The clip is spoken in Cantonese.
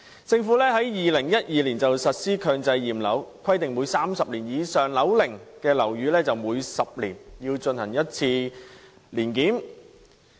政府在2012年實施強制驗樓計劃，規定30年以上樓齡的樓宇每10年須進行一次年檢。